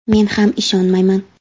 Men ham ishonmayman.